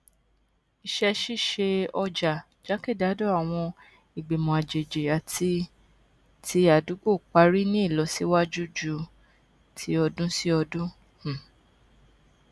iṣẹṣiṣe ọjà jákèjádò àwọn ìgbìmọ àjèjì àti ti àdúgbò parí ní ìlọsíwájú ju ti ọdúnsíọdún um